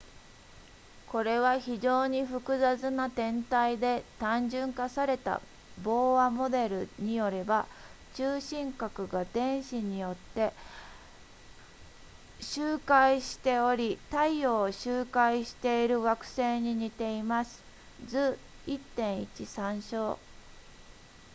これは非常に複雑な天体で単純化されたボーアモデルによれば中心核が電子によって周回しており太陽を周回している惑星に似ています図 1.1 参照